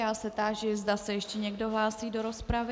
Já se táži, zda se ještě někdo hlásí do rozpravy.